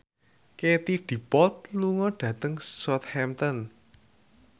Katie Dippold lunga dhateng Southampton